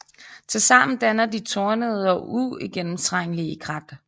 Tilsammen danner de tornede og uigennemtrængelige krat